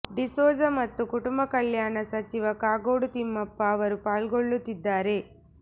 ಡಿಸೋಜಾ ಮತ್ತು ಕುಟುಂಬ ಕಲ್ಯಾಣ ಸಚಿವ ಕಾಗೋಡು ತಿಮ್ಮಪ್ಪ ಅವರು ಪಾಲ್ಗೊಳ್ಳುತ್ತಿದ್ದಾರೆ